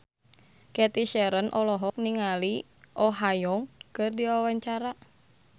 Cathy Sharon olohok ningali Oh Ha Young keur diwawancara